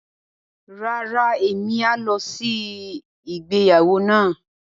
Rárá, emi a lọ sí ìgbéyàwó náà.